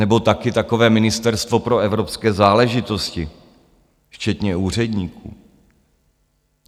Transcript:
Nebo taky takové Ministerstvo pro evropské záležitosti včetně úředníků.